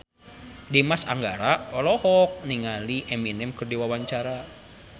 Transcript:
Dimas Anggara olohok ningali Eminem keur diwawancara